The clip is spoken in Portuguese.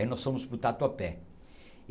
Aí nós fomos para o Tatuapé.